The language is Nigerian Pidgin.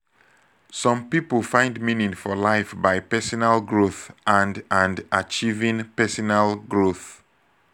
some pipo find meaning for life by personal growth and and achieving personal growth